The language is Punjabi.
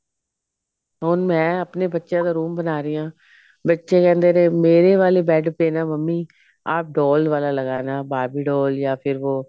ਹੁਣ ਮੈਂ ਆਪਣੇ ਬੱਚਿਆ ਦਾ room ਬਣਾ ਰਹੀ ਹਾਂ ਬੱਚੇ ਕਹਿੰਦੇ ਨੇ ਮੇਰੇ ਵਾਲੇ bed ਪੇ ਨਾ ਮੰਮੀ ਆਪ doll ਵਾਲਾ ਲਗਾਨਾ Barbie doll ਯਾ ਫਿਰ ਵੋ